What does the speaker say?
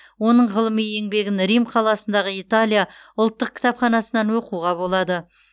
оның ғылыми еңбегін рим қаласындағы италия ұлттық кітапханасынан оқуға болады